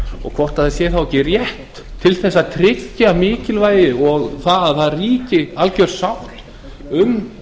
og hvort það sé þá ekki rétt til þess að tryggja mikilvægi og það að alger sátt ríki um